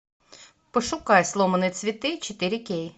пошукай сломанные цветы четыре кей